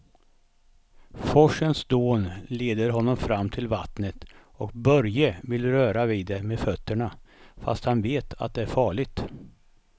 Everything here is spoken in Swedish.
Forsens dån leder honom fram till vattnet och Börje vill röra vid det med fötterna, fast han vet att det är farligt.